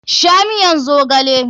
Sha miyan zogale!